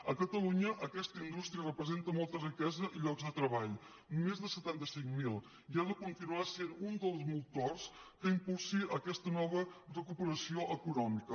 a catalunya aquesta indús·tria representa molta riquesa i llocs de treball més de setanta cinc mil i ha de continuar sent un dels motors que im·pulsi aquesta nova recuperació econòmica